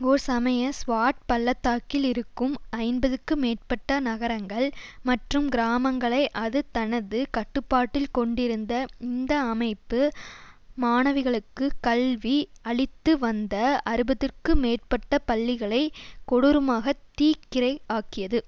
ஓர்சமயம் ஸ்வாட் பள்ளத்தாக்கில் இருக்கும் ஐம்பதுக்கு மேற்பட்ட நகரங்கள் மற்றும் கிராமங்களை அது தனது கட்டுப்பாட்டில் கொண்டிருந்த இந்த அமைப்பு மாணவிகளுக்கு கல்வி அளித்து வந்த அறுபதுற்கும் மேற்பட்ட பள்ளிகளை கொடூரமாக தீக்கிரையாக்கியது